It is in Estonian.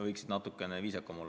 Võiks natuke viisakam olla.